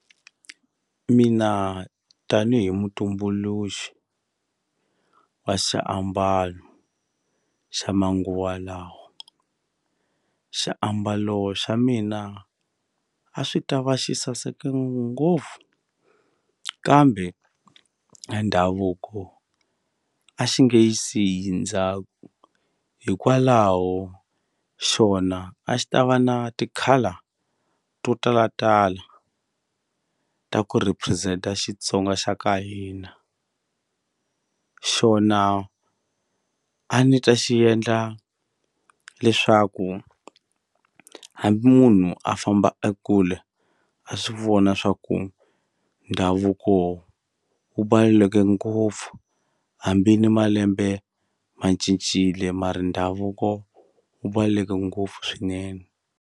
Mina tanihi mutumbuluxi wa xiambalo xa manguva lawa xiambalo xa mina a swi ta va xi saseke ngopfu kambe a ndhavuko a xi nge yi siyi ndzhaku hikwalaho xona a xi ta va na ti-colour to talatala ta ku represent-a Xitsonga xa ka hina xona a ni ta xi endla leswaku hambi munhu a famba ekule a swi vona swa ku ndhavuko wu ngopfu hambi ni malembe ma cincile mara ndhavuko wu ngopfu swinene.